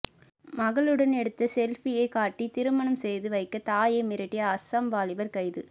மகளுடன் எடுத்த செல்பியை காட்டி திருமணம் செய்து வைக்க தாயை மிரட்டிய அசாம் வாலிபர் கைது